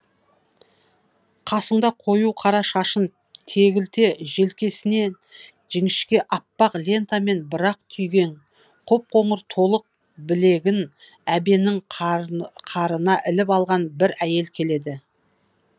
қасыңда қою қара шашын тегілте желкесінен жіңішке аппақ лентамен бір ақ түйгең қоп қоңыр толық білегін әбеннің қарына іліп алған бір әйел келеді